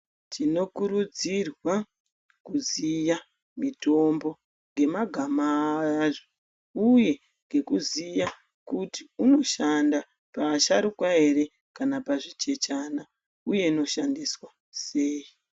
Tinokurudzirwa kuziya mitombo nhemagama azvo uye ngekuziya kuti unoshanda paaasharukwa ere kana pazvichechana uye inoshandiswa sei.